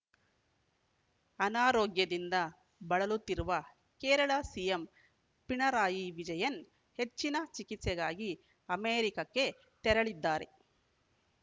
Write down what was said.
ಅನಾರೋಗ್ಯದಿಂದ ಬಳಲುತ್ತಿರುವ ಕೇರಳ ಸಿಎಂ ಪಿಣರಾಯಿ ವಿಜಯನ್‌ ಹೆಚ್ಚಿನ ಚಿಕಿತ್ಸೆಗಾಗಿ ಅಮೆರಿಕಕ್ಕೆ ತೆರಳಿದ್ದಾರೆ